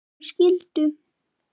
Þau skildu.